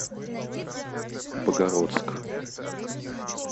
богородск